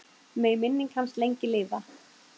Megi minning hans lengi lifa.